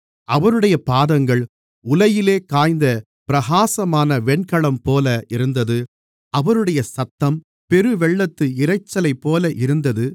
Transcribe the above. அவருடைய பாதங்கள் உலையிலே காய்ந்த பிரகாசமான வெண்கலம்போல இருந்தது அவருடைய சத்தம் பெருவெள்ளத்து இரைச்சலைப்போல இருந்தது